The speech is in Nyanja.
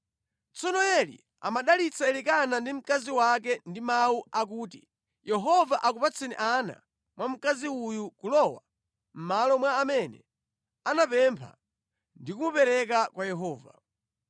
Tsono Eli amadalitsa Elikana ndi mkazi wake ndi mawu akuti “Yehova akupatseni ana mwa mkazi uyu kulowa mʼmalo mwa amene anapempha ndi kumupereka kwa Yehova.”